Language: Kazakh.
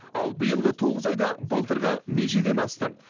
ал биылғы тоғыз айда былтырғы межеден асты